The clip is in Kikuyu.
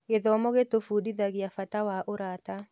Gĩthomo gĩtũbundithagia bata wa ũrata.